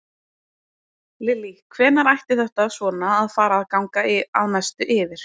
Lillý: Hvenær ætti þetta svona að fara að ganga að mestu yfir?